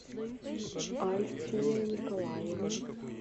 альфия николаевна